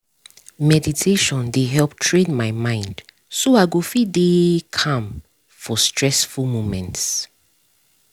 meditation dey help train my mind so i go fit dey calm for stressful moments